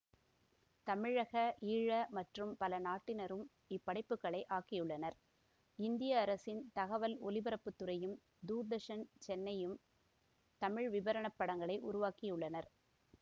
தமிழகஈழ மற்றும் பல நாட்டினரும் இப்படைப்புகளை ஆக்கியுள்ளனர் இந்திய அரசின் தகவல் ஒலிபரப்பு துறையும் தூர்தர்சன்சென்னையும் தமிழ் விபரணப் படங்களை உருவாக்கியுள்ளனர்